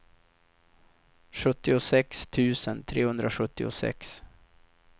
sjuttiosex tusen trehundrasjuttiosex